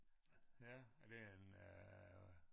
Ja er det en øh